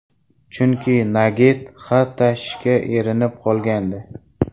Chunki Nagget xat tashishga erinib qolgandi.